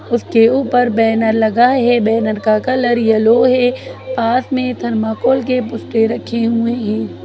उसके ऊपर बैनर लगा है बैनर का कलर येलो है पास में थर्मोकोल के पुस्ते रखे हुए हैं।